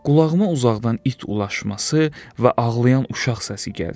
Qulağıma uzaqdan it ulaşması və ağlayan uşaq səsi gəldi.